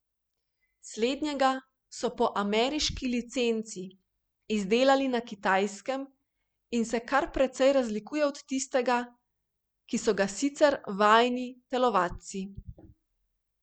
Slednjega so po ameriški licenci izdelali na Kitajskem in se kar precej razlikuje od tistega, kot so ga sicer vajeni telovadci.